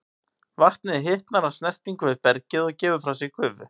Vatnið hitnar af snertingu við bergið og gefur frá sér gufu.